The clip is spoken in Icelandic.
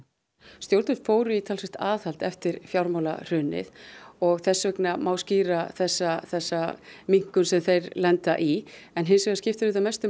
stjórnvöld fóru í talsvert aðhald eftir fjármálahrunið og þess vegna má skýra þessa þessa minnkun sem þeir lenda í en hins vegar skiptir auðvitað mestu